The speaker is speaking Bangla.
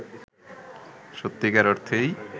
সত্যিকার অর্থেই